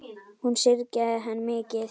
Hún syrgði hann mikið.